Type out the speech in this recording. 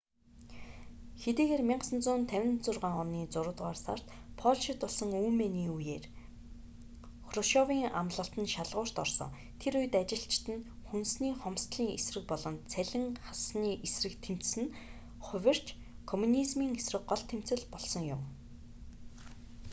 хэдийгээр 1956 оны зургаадугаар сард польшид болсон үймээний үеээр хрушёвийн амлалт нь шалгуурт орсон тэр үед ажилчид нь хүнсний хомсдолын эсрэг болон цалин хассаны эсрэг тэмцэсэн нь хувирч комунизмийн эсрэг гол тэмцэл болсон юм